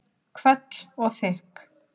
Hvell og þykk.